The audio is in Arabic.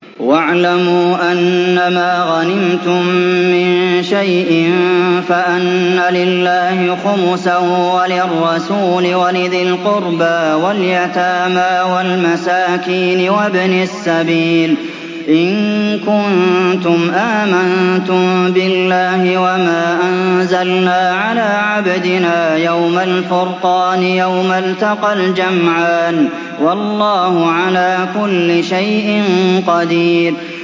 ۞ وَاعْلَمُوا أَنَّمَا غَنِمْتُم مِّن شَيْءٍ فَأَنَّ لِلَّهِ خُمُسَهُ وَلِلرَّسُولِ وَلِذِي الْقُرْبَىٰ وَالْيَتَامَىٰ وَالْمَسَاكِينِ وَابْنِ السَّبِيلِ إِن كُنتُمْ آمَنتُم بِاللَّهِ وَمَا أَنزَلْنَا عَلَىٰ عَبْدِنَا يَوْمَ الْفُرْقَانِ يَوْمَ الْتَقَى الْجَمْعَانِ ۗ وَاللَّهُ عَلَىٰ كُلِّ شَيْءٍ قَدِيرٌ